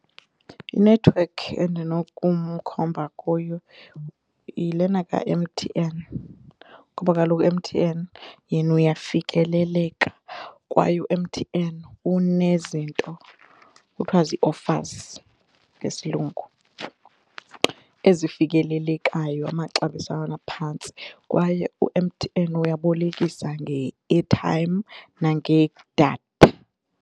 Inethiwekhi endinokumkhomba kuyo yilena ka-M_T_N kuba kaloku u-M_T_N yena uyafikeleleka kwaye u-M_T_N unezinto kuthiwa zii-offers ngesiLungu ezifikelelekayo amaxabiso aphantsi kwaye u-M_T_N uyabolekisa nge-airtime nangedatha.